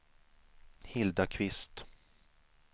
Hilda Kvist